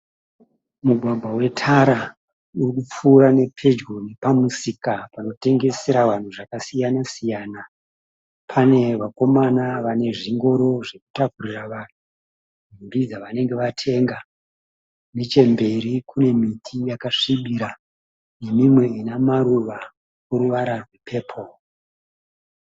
Mugwagwa wetara uri kupfuura nepedyo nepamusika panotengesera vanhu zvakasiyana siyana. Pane vakomana vane zvingoro zvekutakurira vanhu nhumbi dzavanenge vatenga. Nechemberi kune miti yakasvibira nemimwe ina maruva ane ruvara rwepepuru.